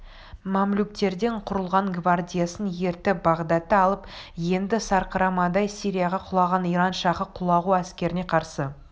мамлюктерден құрылған гвардиясын ертіп бағдатты алып енді сарқырамадай сирияға құлаған иран шахы құлағу әскеріне қарсы